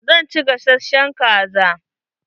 Zan ci gasashen kaza.